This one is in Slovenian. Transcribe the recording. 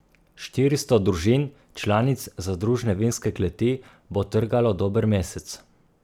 Štiristo družin, članic zadružne vinske kleti, bo trgalo dober mesec.